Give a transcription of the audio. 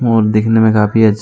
और दिखने मे काफी अच्छा।